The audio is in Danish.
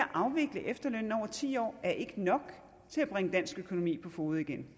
afvikle efterlønnen over ti år er ikke nok til at bringe dansk økonomi på fode igen